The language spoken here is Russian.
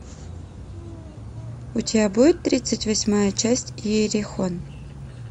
у тебя будет тридцать восьмая часть иерихон